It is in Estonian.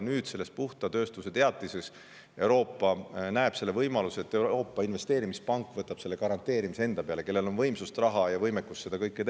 Nüüd selles puhta tööstuse teatises Euroopa näeb ette selle võimaluse, et Euroopa Investeerimispank, kellel on võimsust, raha ja võimekust seda kõike teha, võtab selle garanteerimise enda peale.